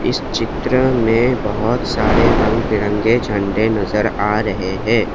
इस चित्र में बहुत सारे रंग बिरंगे झंडे नजर आ रहे हैं।